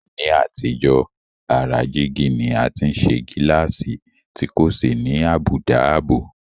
Ní àtijọ́, ara jígí ni a ti ń ṣe gíláàsì tí kò sì ní àbùdá ààbò